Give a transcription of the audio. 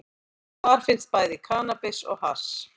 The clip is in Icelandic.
Þar fannst bæði kannabis og hass